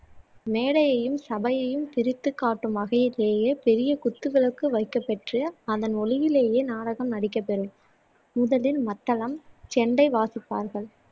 மேடையையும் சபையையும் பிரித்துக் காட்டும் வகையிலேயே பெரிய குத்து விளக்கு வைக்கப் பெற்று அதன் ஒளியிலேயே நாடகம் நடிக்கப் பெறும் முதலில் மத்தளம் செண்டை வாசிப்பார்கள்